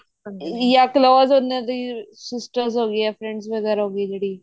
ਯਾ ਕ੍ਲੋਸੇ ਹੁਣੇ ਹੋ ਤੁਸੀਂ sisters ਹੋਗੀਆਂ friends ਵਗੇਰਾ ਹੋਗੀ ਜਿਹੜੀ